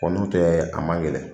Kɔ n'o tɛ a man gɛlɛn